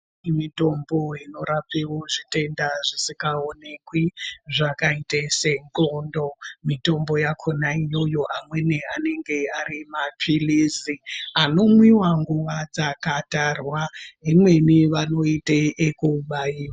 Mitombo inorapewo zvitenda zvisikaonekwi zvakaite sendxondo. Mitombo yakona iyoyo amweni anenge ari maphilizi anomwiwa nguva dzakatarwa. Imweni anoite ekubairwa.